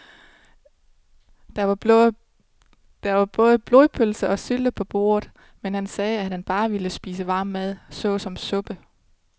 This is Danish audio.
Der var både blodpølse og sylte på bordet, men han sagde, at han bare ville spise varm mad såsom suppe.